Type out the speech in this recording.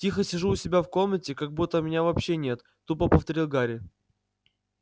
тихо сижу у себя в комнате как будто меня вообще нет тупо повторил гарри